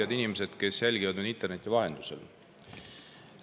Head inimesed, kes jälgivad meid interneti vahendusel!